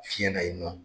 Fiɲɛ na yen nɔ